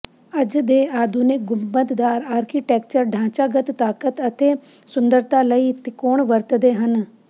ਅੱਜ ਦੇ ਆਧੁਨਿਕ ਗੁੰਬਦਦਾਰ ਆਰਕੀਟੈਕਚਰ ਢਾਂਚਾਗਤ ਤਾਕਤ ਅਤੇ ਸੁੰਦਰਤਾ ਲਈ ਤਿਕੋਣ ਵਰਤਦੇ ਹਨ